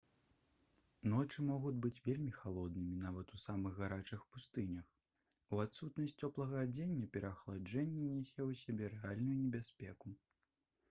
ночы могуць быць вельмі халоднымі нават у самых гарачых пустынях у адсутнасць цёплага адзення пераахаладжэнне нясе ў сабе рэальную небяспеку